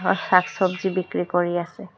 আ শাক-চব্জি বিক্ৰী কৰি আছে।